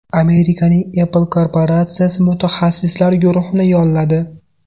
Amerikaning Apple korporatsiyasi mutaxassislar guruhini yolladi.